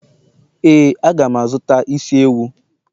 éè, a ga m azụta isi ewu.